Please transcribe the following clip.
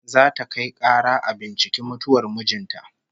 Za ta kai kara a binciki mutuwar mijin ta